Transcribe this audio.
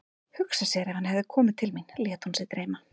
Hugsa sér ef hann hefði komið til mín, lét hún sig dreyma.